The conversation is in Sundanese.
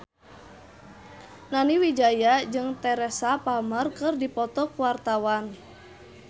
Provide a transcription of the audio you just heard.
Nani Wijaya jeung Teresa Palmer keur dipoto ku wartawan